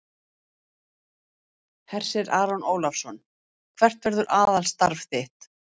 Hersir Aron Ólafsson: Hvert verður aðalstarf þitt?